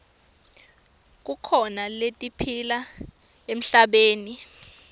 kukhona letiphila emhlabeni